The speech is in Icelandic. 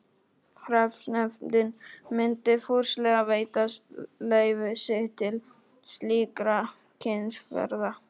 Hreppsnefndin myndi fúslega veita leyfi sitt til slíkrar kynnisferðar.